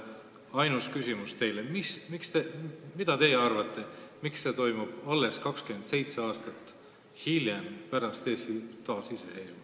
Ainus küsimus teile on, mis te arvate, miks see kõik toimub alles 27 aastat pärast Eesti taasiseseisvumist.